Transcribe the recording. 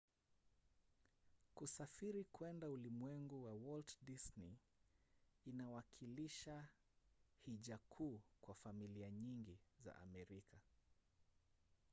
kusafiri kuenda ulimwengu wa walt disney inawakilisha hija kuu kwa familia nyingi za amerika